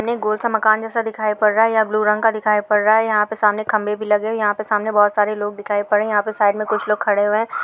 आणि गोल सा मकान जैसा दिखाई पड रहा है या ब्लू रंग का दिखाई पड़ रहा है यहा पे सामने खंबे भी लगे है सामने बोहत सारे लोग दिखाई पड़ रहे है यहा पे सााइड पे कुछ लोग खड़े हुए है।